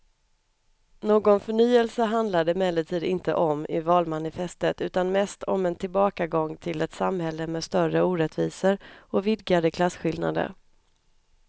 Någon förnyelse handlar det emellertid inte om i valmanifestet utan mest om en tillbakagång till ett samhälle med större orättvisor och vidgade klasskillnader.